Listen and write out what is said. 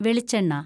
വെളിച്ചെണ്ണ